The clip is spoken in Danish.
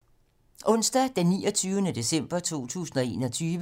Onsdag d. 29. december 2021